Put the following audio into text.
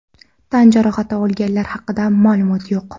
Tan jarohati olganlar haqida ma’lumot yo‘q.